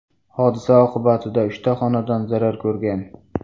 Hodisa oqibatida uchta xonadon zarar ko‘rgan.